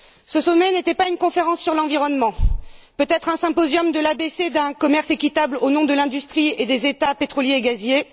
Ce sommet n'était pas une conférence sur l'environnement, peut être un symposium de l'abc d'un commerce équitable au nom de l'industrie et des États pétroliers et gaziers.